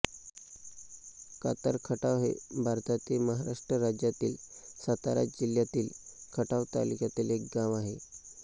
कातरखटाव हे भारतातील महाराष्ट्र राज्यातील सातारा जिल्ह्यातील खटाव तालुक्यातील एक गाव आहे